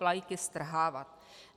Vlajky strhávat."